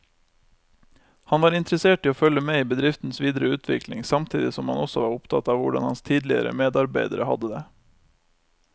Han var interessert i å følge med i bedriftens videre utvikling samtidig som han også var opptatt av hvordan hans tidligere medarbeidere hadde det.